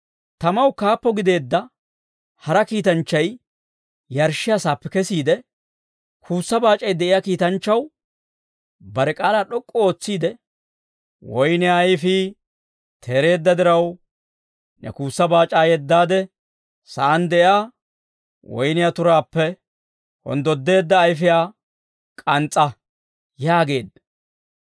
Tamaw kaappo gideedda hara kiitanchchay yarshshiyaa saappe kesiide, kuussa baac'ay de'iyaa kiitanchchaw bare k'aalaa d'ok'k'u ootsiide, «Woynniyaa ayfii teereedda diraw, ne kuussa baac'aa yeddaade, sa'aan de'iyaa woyniyaa turaappe honddodda ayfiyaa k'ans's'a!» yaageedda.